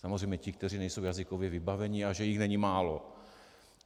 Samozřejmě ti, kteří nejsou jazykově vybavení, a že jich není málo.